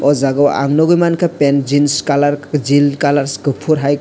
o jaga o ang nogoi mangka pant jeans colour jeans colour kopor hai.